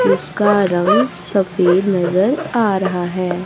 जिसका रंग सफेद नजर आ रहा है।